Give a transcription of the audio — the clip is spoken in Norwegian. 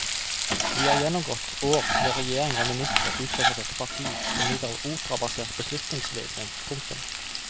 Vi har gjennomgått år med regjeringer og ministre utgått fra dette parti som lider av operabasert beslutningsvegring. punktum